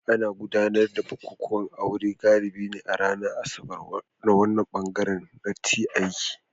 Ana gudanar da bukukuwan aure galibi a ranar Asabar a wannan bangare na t aiki